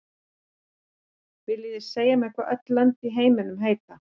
Viljið þið segja mér hvað öll lönd í heiminum heita?